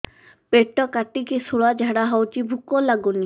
ପେଟ କାଟିକି ଶୂଳା ଝାଡ଼ା ହଉଚି ଭୁକ ଲାଗୁନି